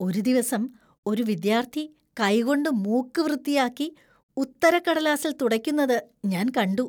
ഒരു ദിവസം ഒരു വിദ്യാർത്ഥി കൈകൊണ്ട് മൂക്ക് വൃത്തിയാക്കി ഉത്തരക്കടലാസിൽ തുടയ്ക്കുന്നത് ഞാൻ കണ്ടു.